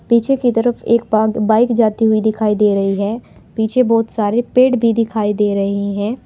पीछे की तरफ एक बाइक जाते हुए दिखाई दे रही है पीछे बहुत सारे पेड़ भी दिखाई दे रहे हैं।